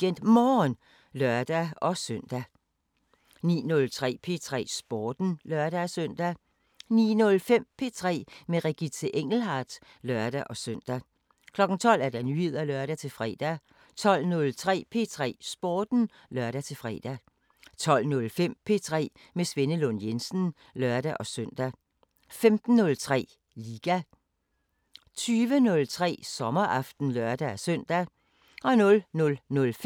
05:00: Radioavisen (lør-fre) 05:03: Morgenstund (lør og man-fre) 06:03: Regionale programmer 09:07: Fri leg 12:00: Radioavisen (lør-fre) 12:15: P4 med Ivan Gregersen 12:30: P4 Nyheder (lør-fre) 12:32: P4 med Ivan Gregersen 14:03: Fra A til B – med Anders Bisgaard 16:03: Radiosporten (lør-søn)